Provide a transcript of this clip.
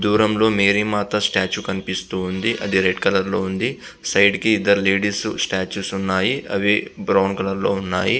దూరం లో మేరీ మాత స్టేటుఏ కనిపిస్తూవుంది.అది రెడ్ కలర్ లో ఉంది .సైడ్ కి ఇద్దరు లేడీస్ స్టేటస్ ఉన్నాయ్.అవి బ్రౌన్ కలర్ లో ఉన్నాయి.